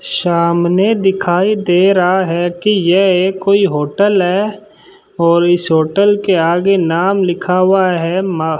सामने दिखाई दे रहा है कि यह एक कोई होटल है और इस होटल के आगे नाम लिखा हुआ है मा --